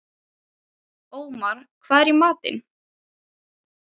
Ómar, hvað er í matinn?